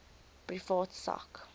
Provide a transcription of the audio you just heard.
privaat sak